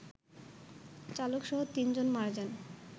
চালকসহ ৩ জন মারা যান